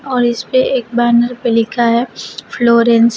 और इस पे एक बैनर पे लिखा है फ्लोरेंस ।